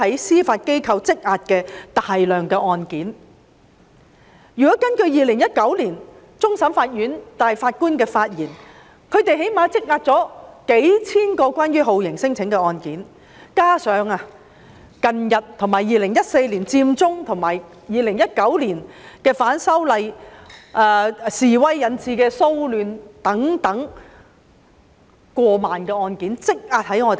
如果根據終審法院大法官在2019年的發言，法院最低限度積壓了數千宗有關酷刑聲請的案件，加上2014年佔中運動及2019年反修例示威引致的騷亂等，法院積壓的案件更多達過萬宗。